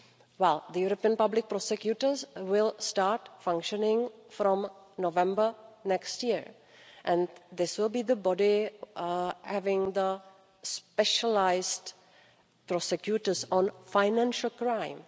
law? Well, the European Public Prosecutor's Office will start functioning from November next year, and this will be the body having specialised prosecutors on financial crime.